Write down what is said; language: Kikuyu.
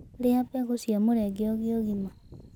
Rĩa mbegũ cia mũrenge ũgĩe ũgima